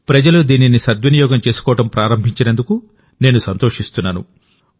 ప్రజలు దీనిని సద్వినియోగం చేసుకోవడం ప్రారంభించినందుకు నేను సంతోషిస్తున్నాను